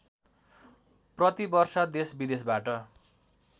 प्रति वर्ष देशविदेशबाट